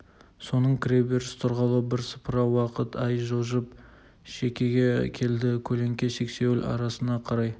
соның кіре беріс тұрғалы бірсыпыра уақыт ай жылжып шекеге келді көлеңке сексеуіл арасына қарай